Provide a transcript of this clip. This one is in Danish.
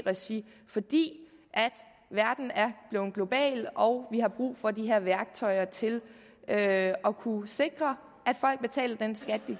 regi fordi verden er blevet global og vi har brug for de her værktøjer til at kunne sikre